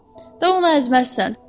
Da onu əzməzsən.